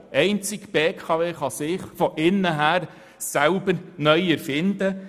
Einzig die BKW kann sich von innen heraus selber neu erfinden.